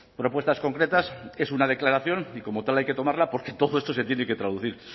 propuestas concretas es una declaración y como tal hay que tomarla porque todo esto se tiene que traducir